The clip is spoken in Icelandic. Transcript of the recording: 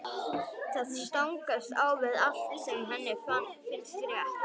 Það stangast á við allt sem henni finnst rétt.